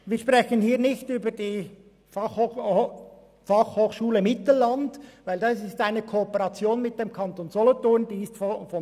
Wir sprechen hier nicht über die Fachschule Mittelland, denn diese wird in Kooperation mit dem Kanton Solothurn getragen.